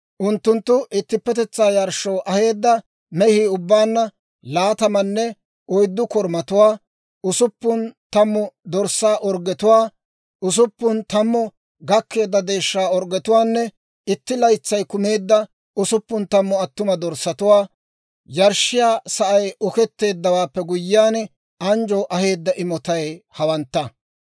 Unttunttu ittippetetsaa yarshshoo aheedda mehii ubbaanna laatamanne oyddu korumatuwaa, usuppun tammu dorssaa orggetuwaa, usuppun tammu gakkeedda deeshshaa orggetuwaanne itti laytsay kumeedda usuppun tammu attuma dorssatuwaa. Yarshshiyaa sa'ay oketteeddawaappe guyyiyaan, anjjoo aheedda imotay hawantta.